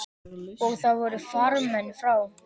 Og þar voru farmenn frá